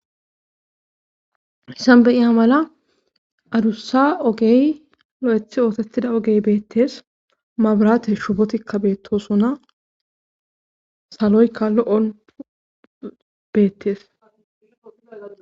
hissan beiya mala adussa ogey lo7ethi ootettida ogey beettes mabrate shubotikka beettosuna saloykka lo7on beettees